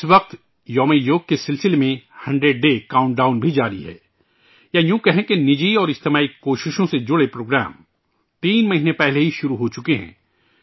اس وقت 'یوگ دیوس' کا 100 day countdown بھی جاری ہے، یا یوں کہیں کہ نجی اور سماجی کوششوں سے جڑے پروگرام ، تین مہینے پہلے ہی شروع ہوچکے ہیں